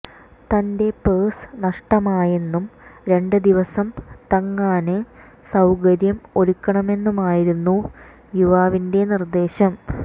തന്റെ പേഴ്സ് നഷ്ടമായെന്നും രണ്ട് ദിവസം തങ്ങാന് സൌകര്യം ഒരുക്കണമെന്നുമായിരുന്നു യുവാവിന്റെ നിര്ദേശം